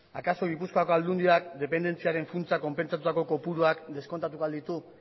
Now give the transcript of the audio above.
akaso gipuzkoako aldundiak dependentziaren funtsa konpentsatutako kopuruak deskontatuko al ditu